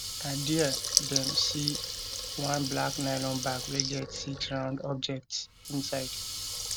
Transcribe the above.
na dia dem see one black nylon bag wey get six round objects inside